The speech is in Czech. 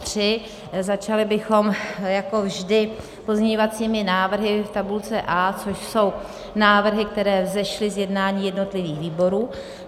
Začali bychom jako vždy pozměňovacími návrhy v tabulce A, což jsou návrhy, které vzešly z jednání jednotlivých výborů.